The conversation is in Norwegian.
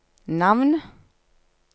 navn